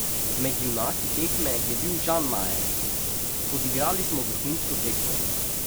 Med junaki tekme je bil Žan Majer: "Odigrali smo vrhunsko tekmo.